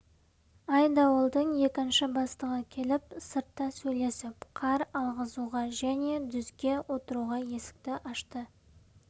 айдауылдың екінші бастығы келіп сыртта сөйлесіп қар алғызуға және дүзге отыруға есікті ашты